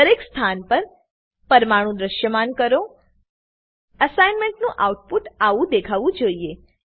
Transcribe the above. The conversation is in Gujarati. દરેક સ્થાન પર પરમાણુ દ્રશ્યમાન કરો અસાઇનમેન્ટનું આઉટપુટ આવું દેખાવું જોઈએ